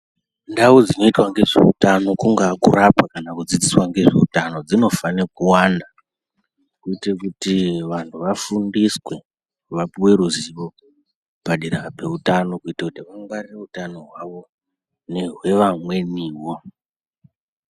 Ndau dzinoitwa ngezveutano kungaa kurapwa kana kudzidziswa ngezveutano dzinofanire kuwanda kuitire kuti vanhu vafundiswe vapuwe ruzivo padera pezveutano kuitire kuti vangwarire utano hwavo nehwevamweniwo.